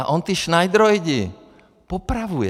A on ty šnajdroidy popravuje.